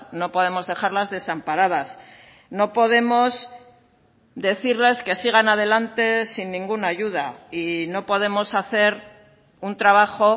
no podemos dejarlas desamparadas no podemos decirles que sigan adelante sin ninguna ayuda y no podemos hacer un trabajo